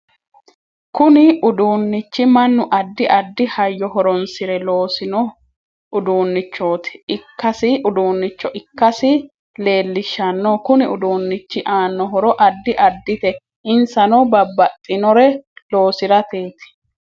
Kunnu uduunichi mannu addi addi hayyo horoonsire loosino uduunicho ikkasi leelishanno kuni uduunichi aano horo addi addite insanno babbaxinore loosirateeti